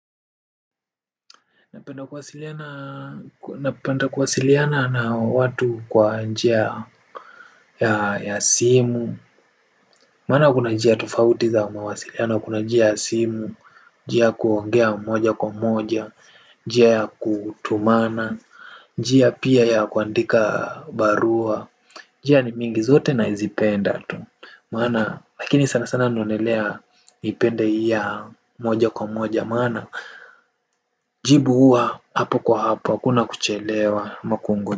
Napenda kuwasiliana na watu kwa njia ya simu. Maana kuna njia tofauti ya mawasiliano. Kuna njia ya simu, njia ya kuongea moja kwa moja njia ya kutumana. Njia pia ya kuandika barua njia ni mingi zote nazipenda. Maana, lakini sana sana naonelea nipende hii ya moja kwa moja maana jibu huwa hapo kwa hapo. Hakuna kuchelewa ama.